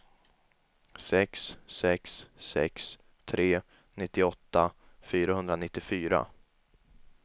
sex sex sex tre nittioåtta fyrahundranittiofyra